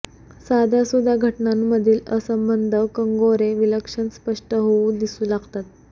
साध्यासुध्या घटनांमधील असंबद्ध कंगोरे विलक्षण स्पष्ट होऊन दिसू लागतात